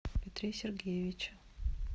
петре сергеевиче